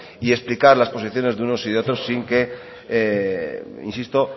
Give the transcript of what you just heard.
y explicar las posiciones de unos y de otros sin que insisto